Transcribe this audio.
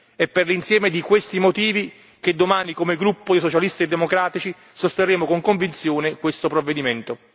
È per l'insieme di questi motivi che domani come gruppo dei Socialisti e democratici sosterremo con convinzione questo provvedimento.